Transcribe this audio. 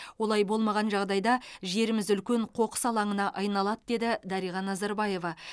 олай болмаған жағдайда жеріміз үлкен қоқыс алаңына айналады деді дариға назарбаева